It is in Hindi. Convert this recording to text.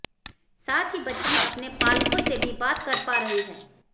साथ ही बच्ची अपने पालकों से भी बात कर पा रही है